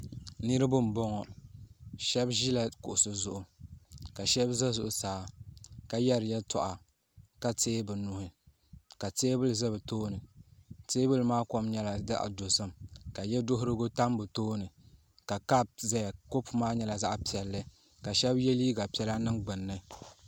niriba n bɔŋɔ shɛbi ʒɛla kuɣisi zuɣ' ka shɛbi za zuɣ' saa ka yɛri yɛtuɣ' ka rɛɛbinuuhi ka tɛbuli za bituuni tɛbuli maa kom nyɛla zaɣ' dozim ka yɛ durigu tam be tuuni ka kapu zaya kapu maa nyɛla zaɣ piɛli ka shɛba yɛ liga piɛlla n nɛŋ gbani